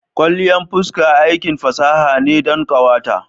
Kwalliyan fuska aikin fasaha ne don ƙawata.